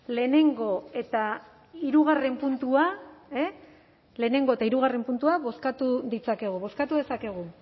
lehenengo eta hirugarren puntua lehenengo eta hirugarren puntuak bozkatu ditzakegu bozkatu dezakegu